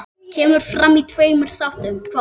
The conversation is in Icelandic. Kemur fram í tveimur þáttum.